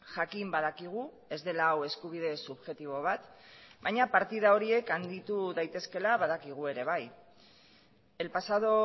jakin badakigu ez dela hau eskubide subjektibo bat baina partida horiek handitu daitezkeela badakigu ere bai el pasado